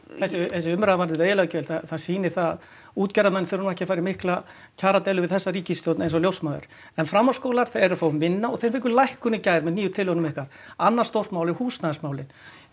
þessi umræða varðandi veiðileyfagjöld það sýnir það að útgerðarmenn þurfa nú ekki að fara í mikla kjaradeilu við þessa ríkisstjórn eins og ljósmæður en framhaldsskólar eru að fá minna og þeir fengu lækkun í gær með tillögunum ykkar annað stórt mál er húsnæðismálin